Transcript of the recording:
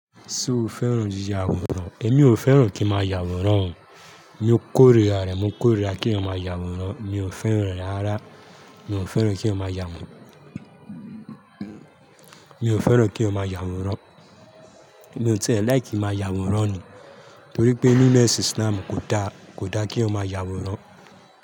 Ṣe o fẹ́ràn yiya awòrán? Èmi ò fẹ́ràn kí máa yà awòrán o. Mo kórira rè, mo kórira kí eeyan máa yà awòrán. Mi ò fẹ́ràn rẹ̀ rárá. Mi ò fẹ́ràn kí eeyan máa yà awòrán. Mi ò fẹ́ràn kí ó máa yà wòrán. Mi ò ti ẹ̀ like ki n máa yà awòrán ni. Torí pé nínu isláamu kò dá, kò dá kí eeyan máa yà awòrán.